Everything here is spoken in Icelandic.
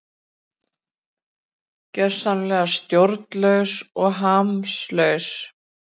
Gjörsamlega stjórnlaus og hamslaus